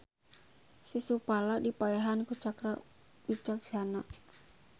Sisupala dipaehan ku Cakra Wicajsana.